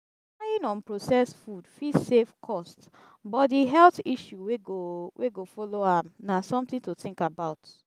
relying on processed food fit save cost but di health issue wey go wey go follow am na something to think about